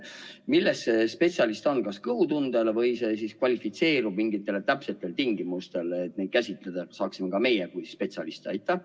Millel see spetsialist olemine põhineb, kas kõhutundel, või kvalifitseerutakse mingitel tingimustel, et ka meie saaksime neid käsitleda kui spetsialiste?